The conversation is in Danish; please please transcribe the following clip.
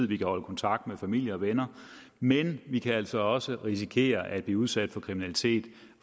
vi kan holde kontakt med familie og venner men vi kan altså også risikere at blive udsat for kriminalitet